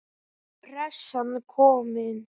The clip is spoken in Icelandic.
Pressan komin.